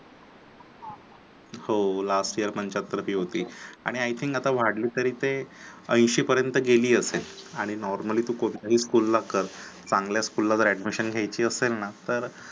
हो Last year पंचाहत्तर fees होती, आणि I think आता वाढली तरी ते ऐंशी पर्यंत गेली असेल आणि normally तू कोणत्याही school ला कर चांगल्या स्कूल जर admission घ्यायची असेल ना तर